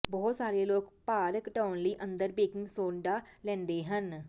ਬਹੁਤ ਸਾਰੇ ਲੋਕ ਭਾਰ ਘਟਾਉਣ ਲਈ ਅੰਦਰ ਬੇਕਿੰਗ ਸੋਡਾ ਲੈਂਦੇ ਹਨ